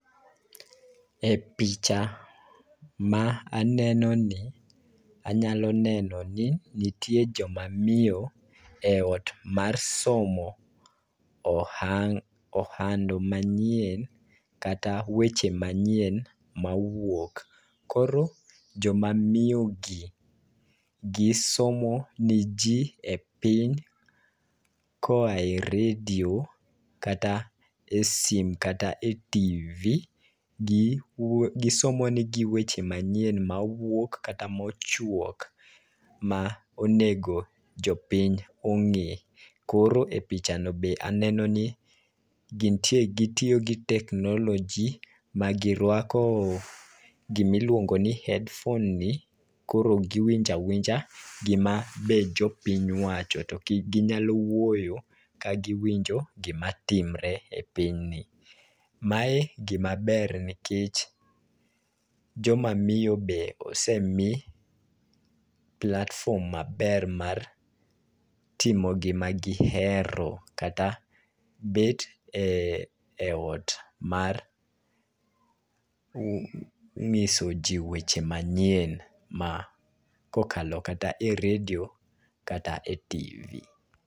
E picha ma aneno ni, anyalo neno ni nitie joma miyo e ot mar somo ohando manyien, kata weche manyien mawuok. Koro joma miyo gi, gisomo ne ji e piny, koa e redio kata e sim kata e TV. Gisomo negi weche manyien mawuok kata mochuok ma onego jopiny ong'e. Koro e picha no be aneno ni, gintie, gitiyo gi teknoloji ma girwako gima iluongo ni headphone ni, koro giwinjo awinja gima be jopiny wacho. To ginyalo wuoyo ka giwinjo gima timore e piny ni. Mae gima ber nikech joma miyo be osemii platform maber mar timo gima gihero kata bet e ot mar ng'iso ji weche manyien ma kokalo kata e redio kata e TV